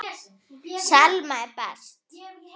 Og hún hætti þessu bara.